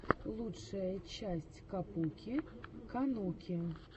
лучшая часть капуки кануки